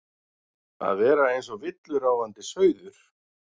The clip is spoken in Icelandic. Að vera eins og villuráfandi sauður